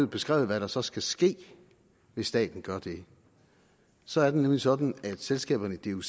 beskrevet hvad der så skal ske hvis staten gør det så er det nemlig sådan at selskaberne i duc